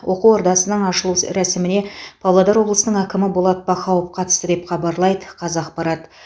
оқу ордасының ашылу рәсіміне павлодар облысының әкімі болат бақауов қатысты деп хабарлайды қазақпарат